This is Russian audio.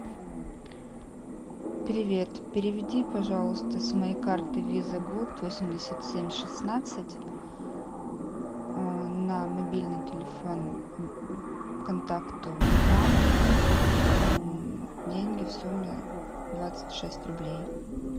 привет переведи пожалуйста с моей карты виза голд восемьдесят семь шестнадцать на мобильный телефон контакту мама деньги в сумме двадцать шесть рублей